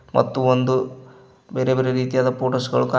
ಮತ್ತು ಒಂದು ಬೇರೆ ಬೇರೆ ರೀತಿಯಾದ ಫೋಟೋಸ್ ಗಳು ಕಾ--